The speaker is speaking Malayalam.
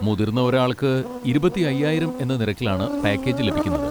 മുതിർന്ന ഒരാൾക്ക് ഇരുപത്തി അയ്യായിരം എന്ന നിരക്കിലാണ് പാക്കേജ് ലഭിക്കുന്നത്.